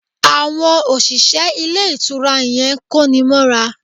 Àwon òṣìṣẹ́ Ilé Ìtura yan kóni móra